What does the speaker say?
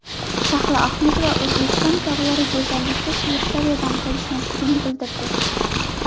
Shahlo Ahmedova O‘zbekiston tog‘lari go‘zallikda Shveysariyadan qolishmasligini bildirdi.